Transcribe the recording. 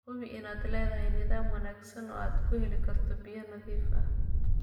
Hubi inaad leedahay nidaam wanaagsan oo aad ku heli karto biyo nadiif ah.